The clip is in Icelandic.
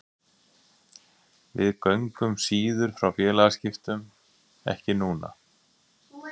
Við göngum síðar frá félagaskiptum, ekki núna.